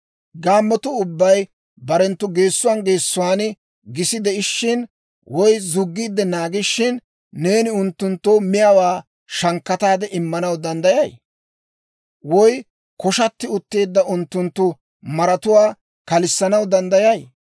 «Gaammotuu ubbay barenttu geessuwaan geessuwaan gisi de'ishshin woy zuggiide naagishin, neeni unttunttoo miyaawaa shankkataade immanaw danddayay? Woy koshatti utteedda unttunttu maratuwaa kalissanaw danddayay?